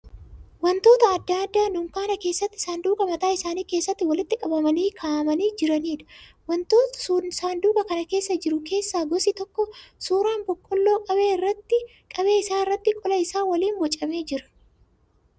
Wantoota adda addaa dunkaana keessatti saanduqa mataa isaanii keessatti walitti qabamanii ka'amanii jiraniidha. Wantoota saanduqa kana keessa jiru keessa gosi tokko suuraan boqqolloo qabee isaa irratti qola isaa waliin boocamee jira.